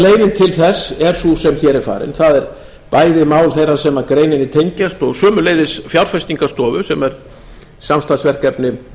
til þess er sú sem hér er farin það er bæði mál þeirra sem greininni tengjast og sömuleiðis fjárfestingarstofu sem er samstarfsverkefni